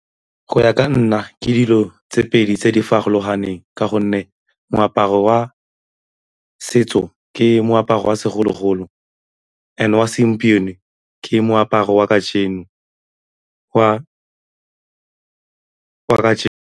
Go ya ka nna ke dilo tse pedi tse di farologaneng ka gonne moaparo wa setso ke moaparo wa segologolo and wa segompieno ke moaparo wa kajeno wa .